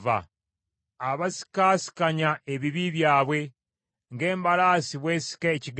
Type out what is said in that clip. Zibasanze abo abasikaasikanya ebibi byabwe ng’embalaasi bw’esika ekigaali.